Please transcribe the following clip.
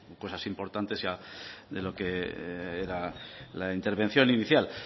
cosas importantes de lo que era la intervención inicial